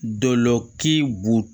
Dɔlɔki bu